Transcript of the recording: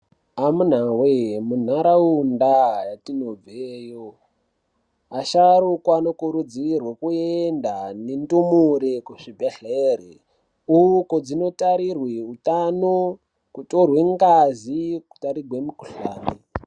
Amunawe, munharawunda tinobveyoyo, asharukwa anokurudzirwa koyenda nendumure kuzvibhedhlere. Uko, dzinotarirwe wutano, kutorwe ngazi, kutarigwe mukhuhlane.